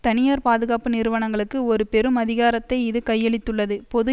தனியார் பாதுகாப்பு நிறுவனங்களுக்கு ஒரு பெரும் அதிகாரத்தை இது கையளித்துள்ளது பொது